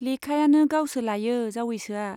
लेखायानो गावसो लायो जावैसोआ।